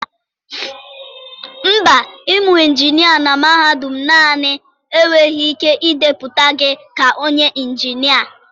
Mba, ịmụ injinia na mahadum naanị enweghị ike ịdepụta gị dị ka onye injinia.